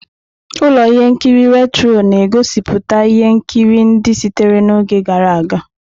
Ụlọ ihe nkiri Retro na-egosiputa ihe nkiri ndị sitere n'oge gara aga.